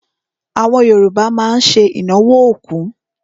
Àwọn Yorùbá má ń ṣe ìnáwó òkú.